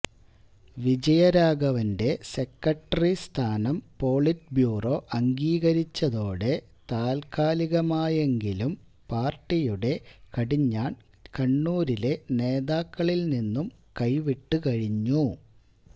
വിജയരാഘവന്റെ secretary സ്ഥാനം politburo അംഗീകരിച്ചതോടെ താത്കാലികമായെങ്കിലും പാര്ട്ടിയുടെ കടിഞ്ഞാണ് കണ്ണൂരിലെ നേതാക്കളില് നിന്നും കൈവിട്ടു കഴിഞ്ഞു